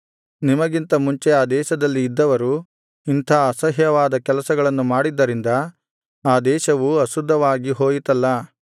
ನಿಮಗಿಂತ ಮುಂಚೆ ಆ ದೇಶದಲ್ಲಿ ಇದ್ದವರು ಇಂಥ ಅಸಹ್ಯವಾದ ಕೆಲಸಗಳನ್ನು ಮಾಡಿದ್ದರಿಂದ ಆ ದೇಶವು ಅಶುದ್ಧವಾಗಿ ಹೋಯಿತಲ್ಲಾ